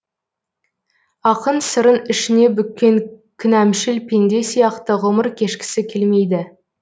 ақын сырын ішіне бүккен кінәмшіл пенде сияқты ғұмыр кешкісі келмейді